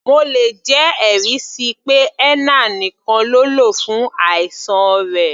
Mo lè jẹ́ ẹ̀rí síi pé henna nìkan ló lò fún àìsàn rẹ̀.